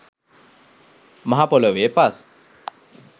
මහපොළොවේ පස්